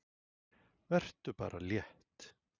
Vertu bara létt!